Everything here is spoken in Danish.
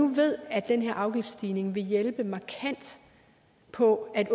ved at denne afgiftsstigning vil hjælpe markant på at